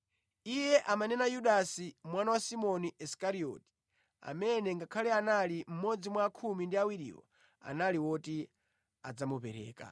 (Iye amanena Yudasi, mwana wa Simoni Isikarioti amene ngakhale anali mmodzi mwa khumi ndi awiriwo, anali woti adzamupereka).